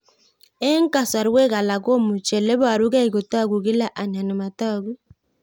Eng' kasarwek alak komuchi ole parukei kotag'u kila anan matag'u